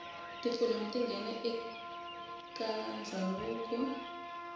tifilimu tingena ekatandzavuko